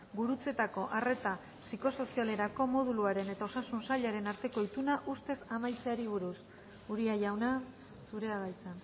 gurutzetako arreta psikosozialerako moduluaren eta osasun sailaren arteko ituna ustezko amaitzeari buruz uria jauna zurea da hitza